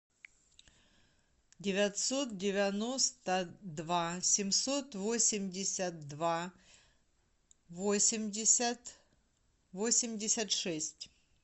девятьсот девяносто два семьсот восемьдесят два восемьдесят восемьдесят шесть